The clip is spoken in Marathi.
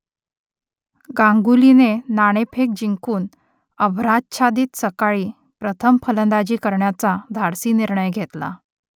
गांगुलीने नाणेफेक जिंकून अभ्राच्छादित सकाळी प्रथम फलंदाजी करण्याचा धाडसी निर्णय घेतला